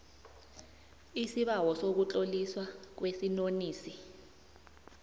isibawo sokutloliswa kwesinonisi